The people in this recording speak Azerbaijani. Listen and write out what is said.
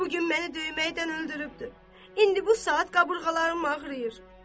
Bu gün məni döyməkdən öldürübdür, indi bu saat qabırğalarım ağrıyır.